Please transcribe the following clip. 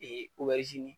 Ee